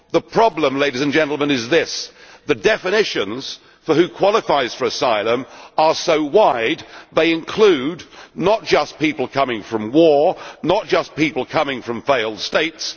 The problem, ladies and gentlemen, is this the definitions for who qualifies for asylum are so wide, they include not just people coming from war, not just people coming from failed states